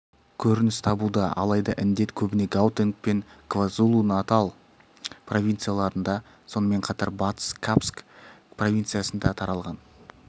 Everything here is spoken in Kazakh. көрініс табуда алайда індет көбіне гаутенг пен квазулу-натал провинцияларында сонымен қатар батыс капск провинциясында таралған